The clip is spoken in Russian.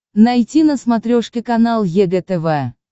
найти на смотрешке канал егэ тв